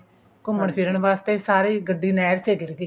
ਘੁੰਮਣ ਫਿਰਣ ਵਾਸਤੇ ਸਾਰੀ ਗੱਡੀ ਹੀ ਨਹਿਰ ਚ ਹੀ ਡਿੱਗ ਗਈ